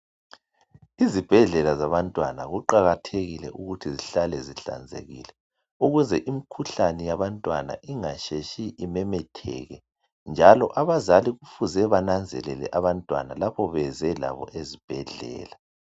izibhedlela zabantwana kuqakathekile ukuthi zihlale zihlanzekile ukuze imikhuhlane yabantwana ingasheshi imemetheke njalo abazali kufuze bananzelele abantwana lapho beze labo ezibhedlela